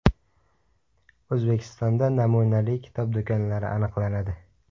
O‘zbekistonda namunali kitob do‘konlari aniqlanadi.